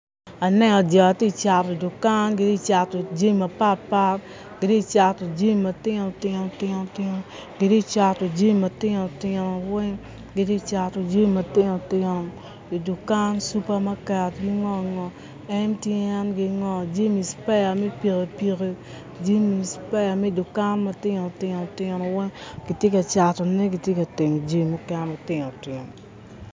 Aneno jo ti cato dukan giti cato jami mapatpat giti cato jami matinotinotino i dukan cupa maket MTNgi ngo cipeya me pikippiki jami cipeya me dukan matinotinotino weny giti ka catone giti ka timo jami mukene matinotinotino